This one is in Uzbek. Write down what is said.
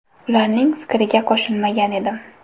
Ularning fikriga qo‘shilmagan edim.